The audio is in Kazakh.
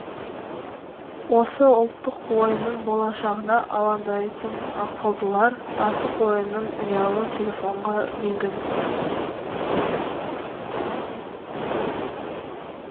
осы ұлттық ойынның болашағына алаңдайтын ақылдылар асық ойынын ұялы телефонға енгізіпті